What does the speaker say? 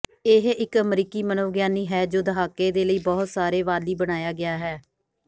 ਇਹ ਇੱਕ ਅਮਰੀਕੀ ਮਨੋਵਿਗਿਆਨੀ ਹੈ ਜੋ ਦਹਾਕੇ ਦੇ ਲਈ ਬਹੁਤ ਸਾਰੇ ਵਾਲੀ ਬਣਾਇਆ ਗਿਆ ਹੈ